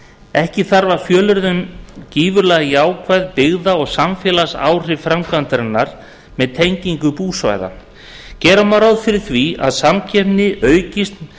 ekki þarf að fjölyrða um gífurleg jákvæð byggða og samfélagsleg áhrif framkvæmdarinnar með tengingu búsvæða gera má ráð fyrir því að samkeppni aukist